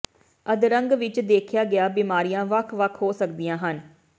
ਅਧਰੰਗ ਵਿਚ ਦੇਖਿਆ ਗਿਆ ਬਿਮਾਰੀਆਂ ਵੱਖ ਵੱਖ ਹੋ ਸਕਦੀਆਂ ਹਨ